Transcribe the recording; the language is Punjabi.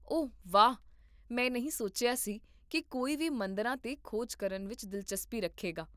ਓ ਵਾਹ, ਮੈਂ ਨਹੀਂ ਸੋਚਿਆ ਸੀ ਕੀ ਕੋਈ ਵੀ ਮੰਦਰਾਂ 'ਤੇ ਖੋਜ ਕਰਨ ਵਿਚ ਦਿਲਚਸਪੀ ਰੱਖੇਗਾ